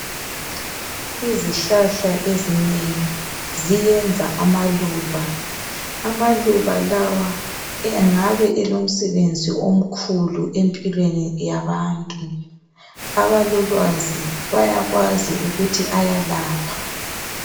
Izihlahla ezinengi ziyenza amaluba. Amaluba lawa engabe elomsebenzi omkhulu empilweni yabantu. Abalolwazi bayakwazi ukuthi ayalapha.